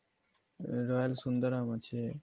royal Sundaram আছে